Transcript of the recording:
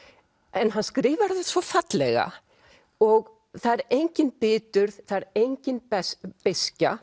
en hann skrifar þetta svo fallega og það er engin biturð það er engin beiskja